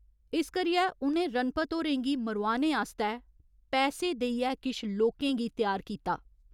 इस करियै उ'नें रणपत होरें गी मरोआने आस्तै पैसे देइयै किश लोकें गी त्यार कीता।